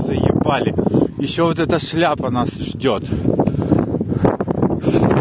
заебали ещё вот эта шляпа нас ждёт